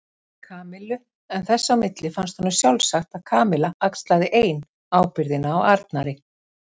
Kamillu en þess á milli fannst honum sjálfsagt að Kamilla axlaði ein ábyrgðina á Arnari.